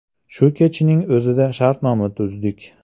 Shu kechning o‘zida shartnoma tuzdik.